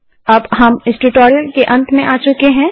अब हम इस ट्यूटोरियल के अंत में आ चुके हैं